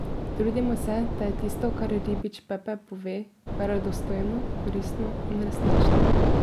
Trudimo se, da je tisto, kar Ribič Pepe pove, verodostojno, koristno in resnično.